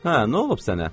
Hə, nə olub sənə?